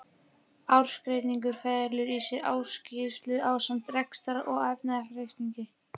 Ársreikningur felur í sér ársskýrslu ásamt rekstrar- og efnahagsreikningi.